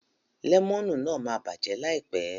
Lẹ́mọ̀nù náà ma bàjẹ́ láìpẹ́.